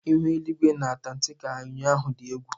Ihu eligwe na Antaktika ụnyaahụ dị egwu.